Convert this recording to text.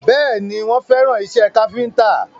Bẹ́ẹ̀ni, wọ́n fẹ́ràn ìṣe káfíntà